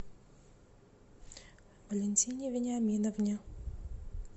валентине вениаминовне